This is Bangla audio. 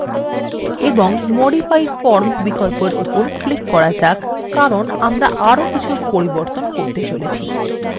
এবং modify form বিকল্পর উপর click করা যাক কারণ আমরা আরো কিছু পরিবর্তন করতে চলেছি